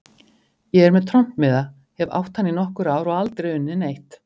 Ég er með trompmiða, hef átt hann í nokkur ár og aldrei unnið neitt.